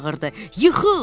Yıxıl!